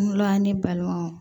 N wolola ne balimaw